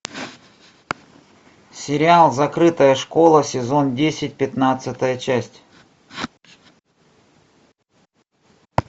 сериал закрытая школа сезон десять пятнадцатая часть